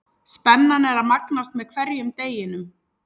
Spennan er að magnast með hverjum deginum.